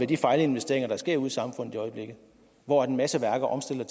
de fejlinvesteringer der sker ude i samfundet i øjeblikket hvor en masse værker omstiller